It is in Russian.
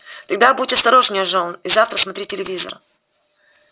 тогда будь осторожнее джон и завтра смотри телевизор